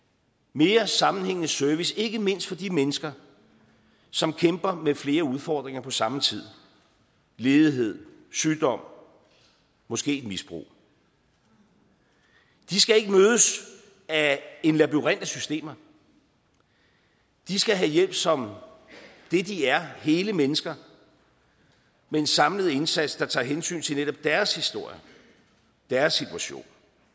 mere sammenhængende service ikke mindst for de mennesker som kæmper med flere udfordringer på samme tid ledighed sygdom måske et misbrug de skal ikke mødes af en labyrint af systemer de skal have hjælp som det de er hele mennesker med en samlet indsats der tager hensyn til netop deres historier deres situation